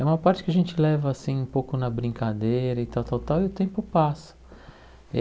É uma parte que a gente leva assim um pouco na brincadeira e tal tal tal, e o tempo passa eh.